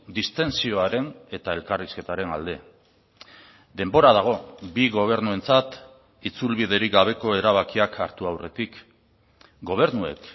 distentsioaren eta elkarrizketaren alde denbora dago bi gobernuentzat itzulbiderik gabeko erabakiak hartu aurretik gobernuek